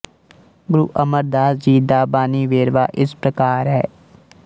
ਗੁਰੂ ਅਮਰਦਾਸ ਜੀ ਦਾ ਬਾਣੀ ਵੇਰਵਾ ਇਸ ਪ੍ਰਕਾਰ ਹੈ